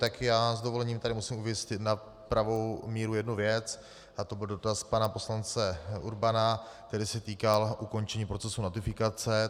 Tak já s dovolením tady musím uvést na pravou míru jednu věc a to byl dotaz pana poslance Urbana, který se týkal ukončení procesu notifikace.